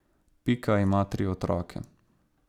Pika ima tri otroke.